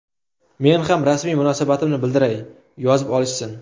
Men ham rasmiy munosabatimni bildiray, yozib olishsin.